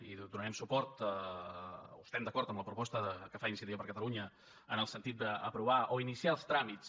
i donarem suport o estem d’acord amb la proposta que fa iniciativa per catalunya en el sentit d’aprovar o iniciar els tràmits